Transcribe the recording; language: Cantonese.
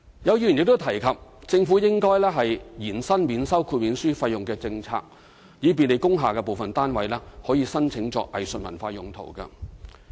有議員亦提及政府應延伸免收豁免書費用的政策，以便利工廈部分單位可以申請作藝術文化用途。